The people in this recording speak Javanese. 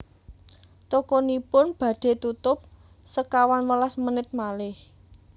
Tokonipun badhe tutup sekawan welas menit malih